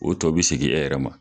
O tɔ be segin e yɛrɛ ma.